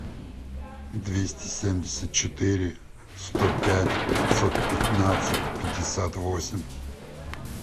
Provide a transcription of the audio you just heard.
двести семьдесят четыре сто пять пятьсот пятнадцать пятьдесят восемь